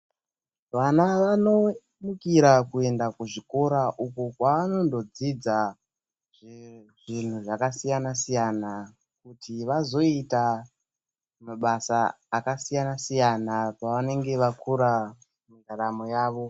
Vana vanomukira kuenda kuzvikora uko kwavanonodzidza zvinhu zvakasiyana siyana kuti vazoita mabasa akasiyana siyana pavanenge vakura raramo yavo.